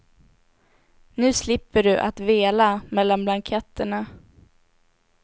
Nu slipper du att vela mellan blanketterna.